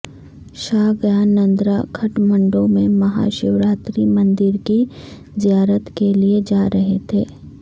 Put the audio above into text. شاہ گیانندرہ کھٹمنڈو میں ماہا شوراتی مندر کی زیارت کے لیے جارہے تھے